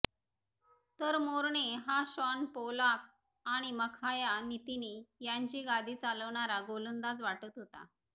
तर मोर्ने हा Shaun Pollock आणि मखाया नतीनी यांची गादी चालवणारा गोलंदाज वाटत होता